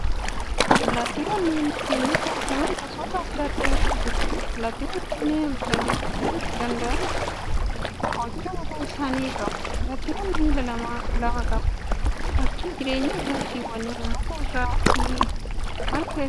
Allaattiiwwan naannoo keenyatti argaman gosoota addaa addaatu jiru. Allaattiiwwan kunneen balali'uuf kan isaan dandeesisu kochoo mataa isaanii qabu. Allaattiiwwan miila lama lama qabu. Bakki jireenya allaattiiwwanii muka irraa fi marga keessa